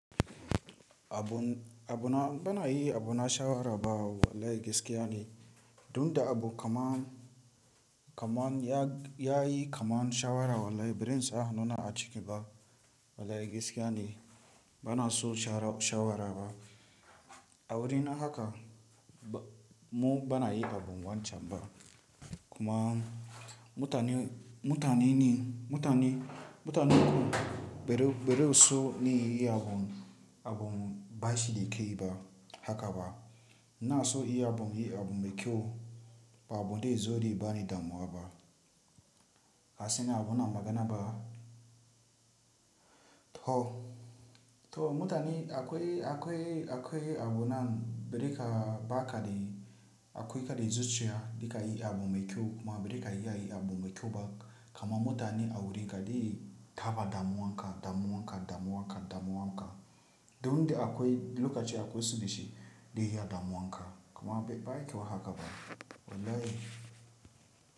Abun, abuna bana yi abuna shawara ba wallahi gaskiya ne. Duk da abu kaman, kaman ya, ya yi kaman shawara wallahi birin sa hanuna a ciki ba wallahi gaskiya ne. Bana so shawara ba. A wurin haka mu bana yi abun wancan ba. Kuma mutane, mutane ne, mutane, mutane beru, beru so ne yi abun, abun bashi da kai ba haka ba. Na so inyi abun, yi abun mai kyau ba abun da zo ni bani damuwa ba. Harse na abuna magana ba. To, to mutane akwai, akwai, akwai abunan berika baka ne akwai ka da zuciya, da ka yi abun mai kyau kuma berika ya yi abun mai kyau ba. Kuma mutane a wuriga da yi tafa damuwa haka, damuwa haka, damuwa haka, damuwa haka. Duk da akwai lokaci akwai subhi shi da yi damuwa haka. Kuma bai kaiwa haka ba wallahi.